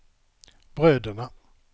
bröderna